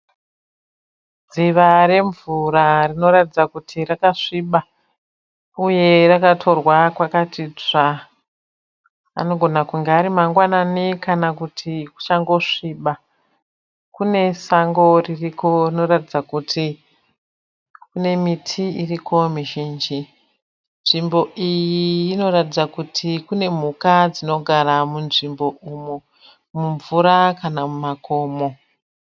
Dziva remvura rinoratidza kuti rakasviba uye rakatorwa kwakati tsvaa, anogona kunge ari mangwanani kana kuti kuchango sviba. Kune sango ririko rinoratidza kuti kune miti iriko mizhinji. Nzvimbo iyi inoratidza kuti kune mhuka dzinogara munzvimbo umu, mumvura kana mumakomo.